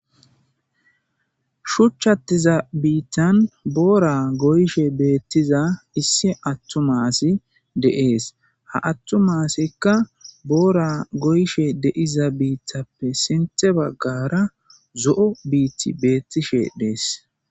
shuchchattiza biittan boora goyshe beettiza issi attumasi deees ha attumaasikka boora goyshe deiza biittappe sinthe baggara zo7o biiti beettishe dees